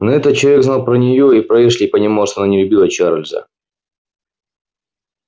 но этот человек знал про неё и про эшли и понимал что она не любила чарлза